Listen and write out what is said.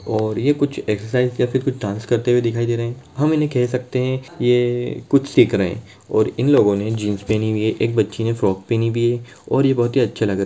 और यह कुछ एक्सरसाइज करते डांस करते हुए दिखाई दे रहे हैं हम कह सकते हैं यह कुछ सीख रहे हैं और इन लोगो ने जींस पहनी हुई है बच्ची ने फ्रॉक पहनी हुई है और यह बहुत ही अच्छा लग--